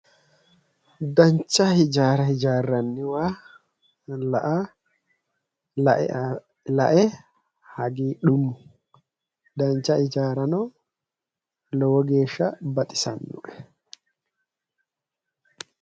Dancha hijaara hijaarranniwa la'a la'e hagiidhummo dancha hijaarano lowo geesha baxisanno'e